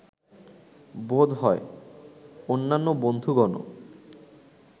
বোধ হয়, অন্যান্য বন্ধুগণও